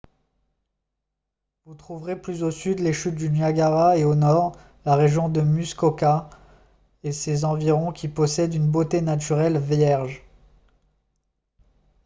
vous trouverez plus au sud les chutes du niagara et au nord la région de muskoka et ses environs qui possèdent une beauté naturelle vierge